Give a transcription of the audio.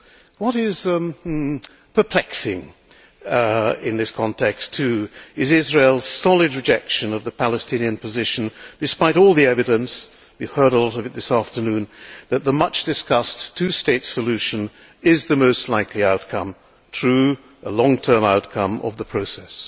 What is perplexing in this context, too, is Israel's solid rejection of the Palestinian position despite all the evidence and we heard a lot of it this afternoon that the much discussed two state solution is the most likely outcome true, a long term outcome of the process.